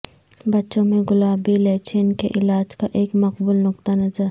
بچوں میں گلابی لچین کے علاج کا ایک مقبول نقطہ نظر